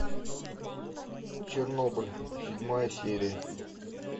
чернобыль седьмая серия